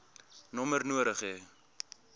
nommer nodig hê